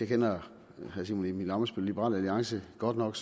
kender herre simon emil ammitzbøll fra liberal alliance godt nok